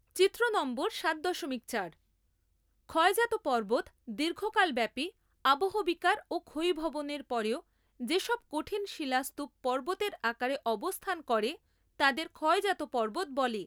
চিত্র নম্বর সাত দশমিক চার ক্ষয়জাত পর্বত দীর্ঘকাল ব্যাপী আবহবিকার ও ক্ষয়ীভবনের পরেও যে সব কঠিন শিলাস্তূপ পর্বতের আকারে অবস্থান করে তাদের ক্ষয়জাত পর্বত বলে।